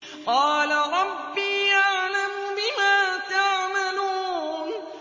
قَالَ رَبِّي أَعْلَمُ بِمَا تَعْمَلُونَ